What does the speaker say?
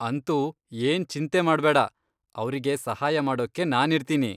ಅಂತೂ ಏನ್ ಚಿಂತೆ ಮಾಡ್ಬೇಡ, ಅವ್ರಿಗೆ ಸಹಾಯ ಮಾಡೋಕ್ಕೆ ನಾನಿರ್ತೀನಿ.